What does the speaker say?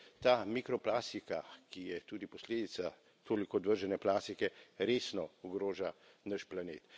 Torej ta mikroplastika, ki je tudi posledica toliko odvržene plastike, resno ogroža naš planet.